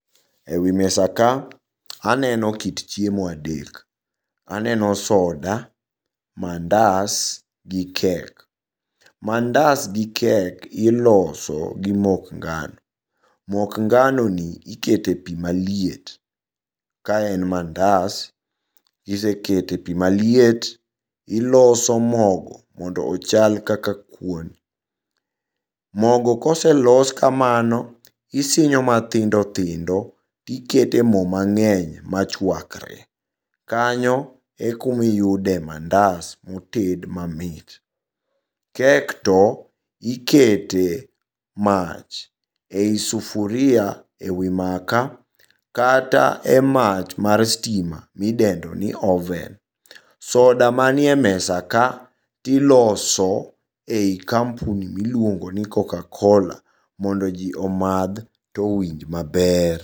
E wi mesa ka aneno kit chiemo adek. Aneno soda, mandas gi kek. Mandas gi kek iloso gi mok ngano. Mok nganoni ikete pii maliet kaen mandas kisekete pii maliet iloso mogo mondo ochal kaka kuon. Mogo koselos kamano isinyo mathindo thindo tikete mo mang'eny machuakre. Kanyo e kuma iyude mandas moted mamit. Kek to, ikete mach ei sufuria e wi maka kata e mach mar stima midendoni oven. Soda manie mesa ka tiloso ei kampuni miluongoni Cocacola mondo jii omadh to owinj maber.